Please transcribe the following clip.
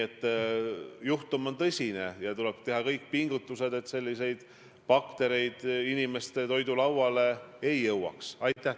Igal juhul toetan ja tunnustan ma koalitsioonipartnereid, nii EKRE-t kui ka Isamaad ja oma erakonda.